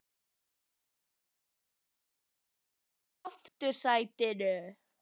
sem gerði sig breiða í aftursætinu.